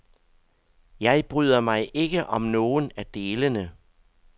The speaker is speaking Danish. Jeg bryder mig ikke om nogen af delene.